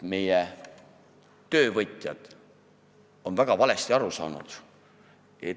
Meie töövõtjad on väga valesti aru saanud.